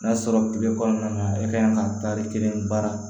N'a sɔrɔ tile kɔnɔna na e ka kan ka taari kelen baara